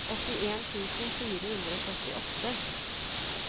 åttien tusen fire hundre og syttiåtte